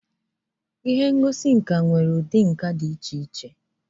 Ihe ngosi nka nwere ụdị nka dị iche iche.